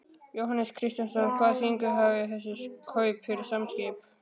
Jóhannes Kristjánsson: Hvaða þýðingu hafa þessi kaup fyrir Samskip?